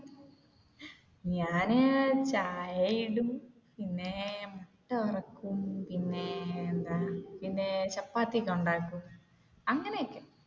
ഞാൻ ചായ ഇടും പിന്നെ ചോറ് വെക്കും പിന്നെ എന്താ ചപ്പാത്തി ഒക്കെ ഉണ്ടാക്കും അങ്ങനെയൊക്കെ.